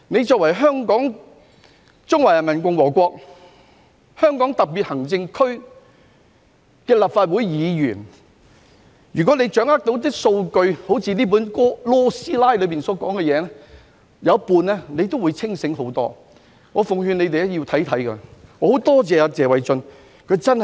身為中華人民共和國香港特別行政區立法會議員，如果他們能夠掌握數據，例如 "LAW 師奶"在書中所提到的，甚或只需掌握一半，他們也會清醒得多。